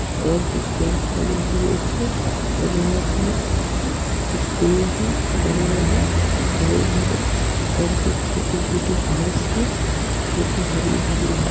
और कुछ गेट लगे हुए हैं और यहाँ पर कुछ पेड़ हैं बड़े बड़े हरे भरे और कुछ छोटी छोटी घास है जो की हरी भरी है।